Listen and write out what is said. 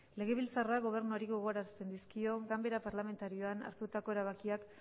legebiltzarrak gobernuari gogorarazten dizkio ganbara parlamentarioan hartutako erabakiak